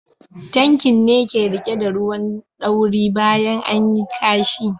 Tankin ne ke rike da ruwan ɗauri bayan anyi ƙashi.